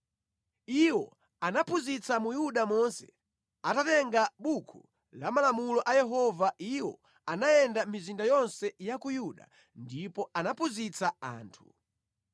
Iwo anaphunzitsa mu Yuda monse atatenga Buku la Malamulo a Yehova iwo anayenda mʼmizinda yonse ya ku Yuda ndipo anaphunzitsa anthu.